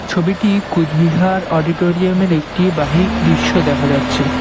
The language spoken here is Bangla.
ছবিটি কোচবিহার অডিটোরিয়াম -এর একটি বাহিক দৃশ্য দেখা যাচ্ছে।